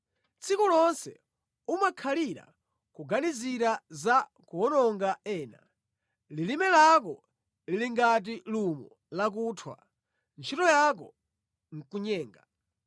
Tsiku lonse umakhalira kuganizira za kuwononga ena; lilime lako lili ngati lumo lakuthwa, ntchito yako nʼkunyenga.